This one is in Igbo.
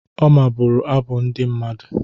Oma bụrụ abụ ndị mmadụ.